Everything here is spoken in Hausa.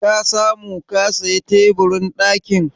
Ka samu ka saya teburin ɗakin?